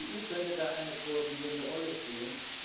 Die EU könnte da eine koordinierende Rolle spielen.